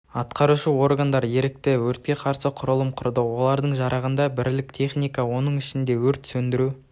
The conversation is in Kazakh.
атқарушы органдар ерікті өртке қарсы құралым құрды олардың жарағында бірлік техника оның ішінде өрт сөндіру